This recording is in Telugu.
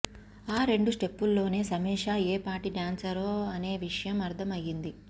ఆ రెండు స్టెప్పుల్లోనే సయేషా ఏ పాటి డ్యాన్సరో అనే విషయం అర్థం అయ్యింది